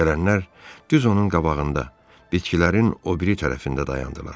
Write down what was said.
Gələnlər düz onun qabağında, bitkilərin o biri tərəfində dayandılar.